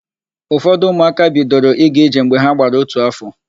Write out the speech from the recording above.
Ụfọdụ ụmụaka bidoro ịga ije mgbe ha gbara ótù áfọ̀.